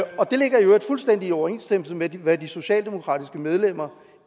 det ligger i øvrigt fuldstændig i overensstemmelse med hvad de socialdemokratiske medlemmer